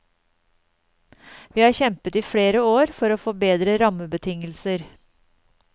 Vi har kjempet i flere år for å få bedre rammebetingelser.